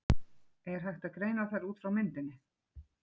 Er hægt að greina þær út frá myndinni?